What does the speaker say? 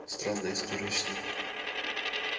странная история с ним